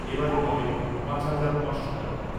এবারে পাবেন পাঁচ হাজার পাঁচশো টাকা ।